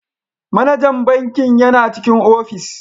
Manajan bankin yana cikin ofis.